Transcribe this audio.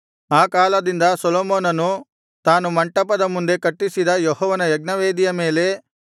ಆ ಕಾಲದಿಂದ ಸೊಲೊಮೋನನು ತಾನು ಮಂಟಪದ ಮುಂದೆ ಕಟ್ಟಿಸಿದ ಯೆಹೋವನ ಯಜ್ಞವೇದಿಯ ಮೇಲೆ